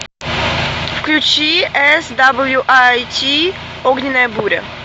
включи эс дабл ю ай ти огненная буря